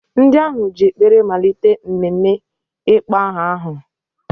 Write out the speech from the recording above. Ndị ahụ ji ekpere malite mmemme ịkpọ aha ahụ.